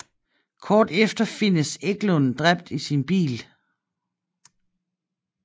Kort efter findes Eklund dræbt i sin bil